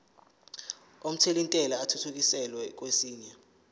omthelintela athuthukiselwa kwesinye